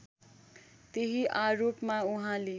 त्यही आरोपमा उहाँले